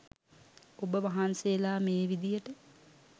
ඔබ වහන්සේලා මේ විදියට